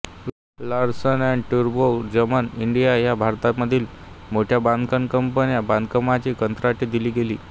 Larsen and Toubro Gammon India ह्या भारतामधील मोठ्या बांधकाम कंपन्यांना बांधकामाची कंत्राटे दिली गेली